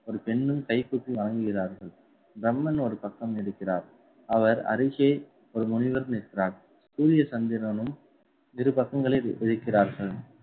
ஒரு பெண்ணும் கைகூப்பி வணங்குகிறார்கள் பிரம்மன் ஒரு பக்கம் இருக்கிறார். அவர் அருகே ஒரு முனிவர் நிற்கிறார். சூரிய சந்திரனும் இரு பக்கங்களை வி~